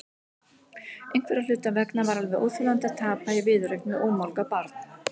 Einhverra hluta vegna var alveg óþolandi að tapa í viðureign við ómálga barn.